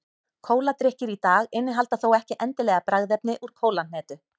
kóladrykkir í dag innihalda þó ekki endilega bragðefni úr kólahnetu